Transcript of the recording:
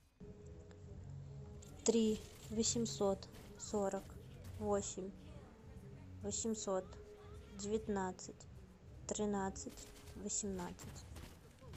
три восемьсот сорок восемь восемьсот девятнадцать тринадцать восемнадцать